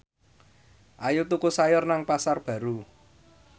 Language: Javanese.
Ayu tuku sayur nang Pasar Baru